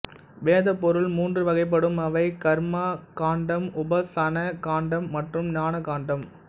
வேதப்பொருள் மூன்று வகைப்படும் அவை கர்ம காண்டம்உபாசன காண்டம்மற்றும் ஞான காண்டம்